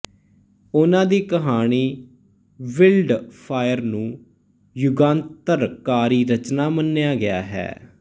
ਉਹਨਾਂ ਦੀ ਕਹਾਣੀ ਬਿਲਡ ਅ ਫਾਇਰ ਨੂੰ ਯੁਗਾਂਤਰਕਾਰੀ ਰਚਨਾ ਮੰਨਿਆ ਗਿਆ ਹੈ